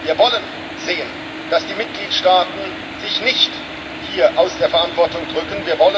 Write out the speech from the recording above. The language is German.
Wir wollen sehen, dass die Mitgliedstaaten sich nicht aus der Verantwortung drücken.